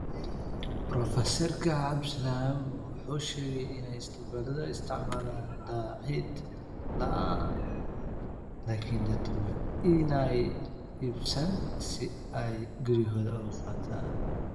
Professerka cabdisalam waxa uu sheegay in Isbitaaladu ay isticmaalaan daahid la'aan laakiin dadku waa in aanay iibsan si ay guryahooda ugu qaataan.